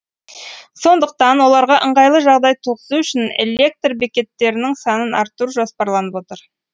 сондықтан оларға ыңғайлы жағдай туғызу үшін электр бекеттерінің санын арттыру жоспарланып отыр